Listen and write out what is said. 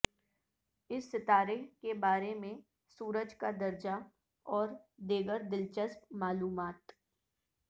اس ستارہ کے بارے میں سورج کا درجہ اور دیگر دلچسپ معلومات